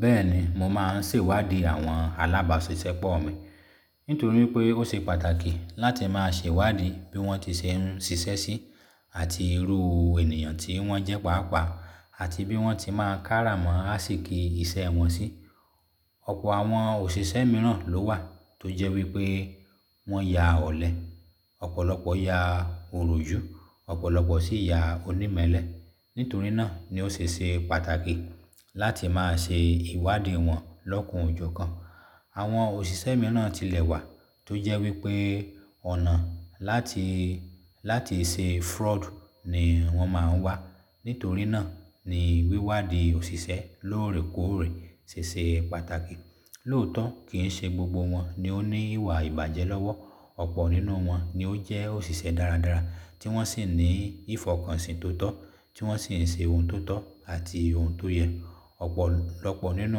Bẹ́ẹ̀ni, mo máa ń sèwádìí àwọn alábàásisẹ́pọ̀ mi nítorí pé ó ṣe pàtàkì láti máa ṣèwádìí bí wọ́n ti se ń ṣiṣẹ́ sí, àti irú ènìyàn tí wọ́n jẹ́ pàápàá àti bí wọ́n ti máa ń kárà mọ́ ásìkí iṣẹ́ wọn sí. Ọ̀pọ̀ àwọn òṣìṣẹ́ mìíràn ló wà tó jẹ́ wípé wọ́n ya ọ̀lẹ, ọ̀pọ̀lọpọ̀ ya òròjú, ọ̀pọ̀lọpọ̀ sì ya onímẹlẹ́. Nítorí náà ni ó se se pàtàkì láti máa se ìwádìí wọn lọ́kan o jọkan. Àwọn òṣìṣẹ́ mìíràn tilẹ̀ wà tó jẹ́ wípé ọ̀nà láti, láti ṣe fraud ni wọ́n máa ń wá. Nítorí náà ni wíwádìí òṣìṣẹ́ lóòrèkóòrè ṣe ṣe pàtàkì. Lóòótọ́ kì ń ṣe gbogbo wọn ni ó ní ìwà ìbàjẹ́ lọ́wọ́. Ọ̀pọ̀ nínú wọn ni ó jẹ́ òṣìṣẹ́ dáradára tí wọ́n sì ní ìfọkànsìn tóotọ́ tí wọ́n sì ń se ohun tó tọ́ àti ohun tó yẹ. Ọ̀pọ̀lọpọ̀ nínú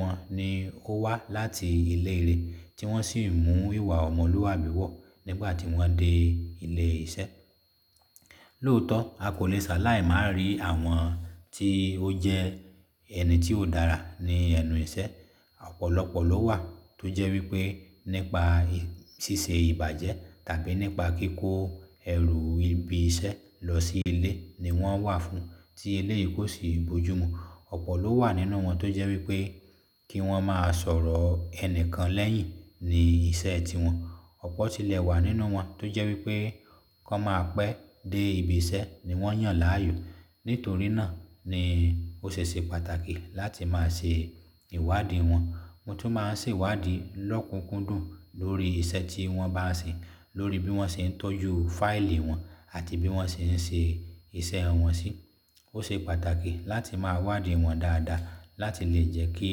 wọn ni ó wá láti iléeré tí wọ́n sì ń mú ìwà ọmọlúwàbí wọ̀ nígbà tí wọ́n dé ilé iṣẹ́. Lóòótọ́ a kò le sàláì má ri àwọn tí ó jẹ́ ẹni tí ó dára ní ẹnu iṣẹ́. Ọ̀pọ̀lọpọ̀ ló wà tó jẹ́ wípé nípa síse ìbàjẹ́ tàbí nípa kíkó ẹrù ibi iṣẹ́ lọ sí ilé ni wọ́n wà fún tí eléyìí kò sì bojú mu. Ọ̀pọ̀ ló wà nínú wọn tó jẹ́ wípé kí wọ́n máa sọ̀rọ̀ ẹnìkan lẹ́yìn ni iṣẹ́ tiwọn. Ọ̀pọ̀ tilẹ̀ wà nínú wọn tó jẹ́ wípé kan máa pẹ́ dé ibi iṣẹ́ ni wọ́n yàn láàyò. Nítorí náà ni ó ṣe ṣe pàtàkì láti máa ṣe ìwádìí wọn. Mo tún máa ń sèwádìí lọ́kùnkúndùn lórí iṣẹ́ tí wọ́n bá ń ṣe, lórí bí wọ́n ṣe ń tọ́jú fáìlì wọn àti bí wọ́n ṣe ń ṣe iṣẹ́ wọn sí. Ó se pàtàkì láti máa wádìí wọn dáadáa láti lè jẹ́ kí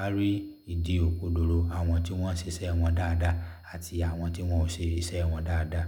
a rí ìdí òkodòro àwọn tí wọ́n ń ṣe iṣẹ́ wọn dáadáa àti àwọn tí wọn ò ṣe iṣẹ́ wọn dáadáa.